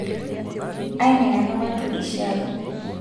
aiminaka patureshi ai